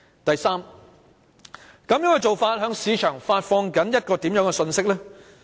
第三，這種做法向市場發放了甚麼信息？